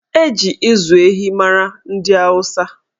Eji ịzụ ehi mara ndị Awụsa